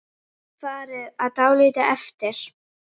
Færið var dálítið erfitt.